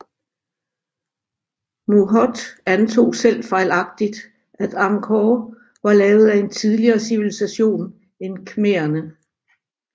Mouhot antog selv fejlagtigt at Angkor var lavet af en tidligere civilisation end khmererne